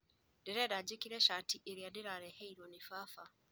Ndĩrenda njĩkĩre cati ĩrĩa ndĩraheirwo nĩ baba